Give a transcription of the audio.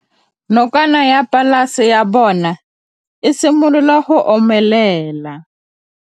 Nokana ya polase ya bona, e simolola go omelela.